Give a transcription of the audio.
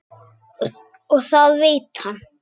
Og það veit hann.